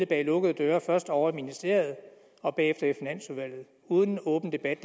bag lukkede døre først ovre i ministeriet og bagefter i finansudvalget uden en åben debat